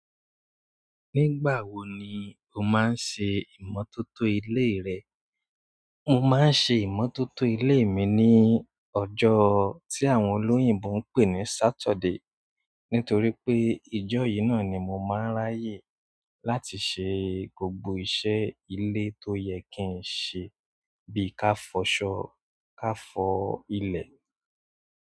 Nígbà wo ni o máa ń ṣe ìmọ́tótó ilé rẹ? Mo máa ń ṣe ìmọ́tótó ilé mi ní ọjọ́ tí àwọn olóyìnbo ń pè ní Saturday nítorí pé ijọ́ yìí náà ni mo máa ń ráyè láti ṣe gbogbo iṣẹ́ ilé tó yẹ kí n ṣe bí i ká fọṣọ, ká fọ́ ilẹ̀.